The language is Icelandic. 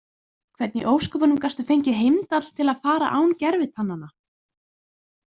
Hvernig í ósköpunum gastu fengið Heimdall til að fara án gervitannanna?